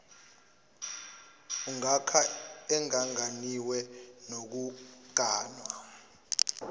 ongaka engaganiwe nokuganwa